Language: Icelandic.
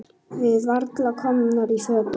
Við varla komnar í fötin.